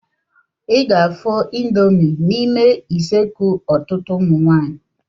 I ga-afụ ịndomii n'ime useekụ ọtụtụ ụmụ nwaanyị.